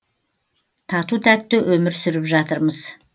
тату тәтті өмір сүріп жатырмыз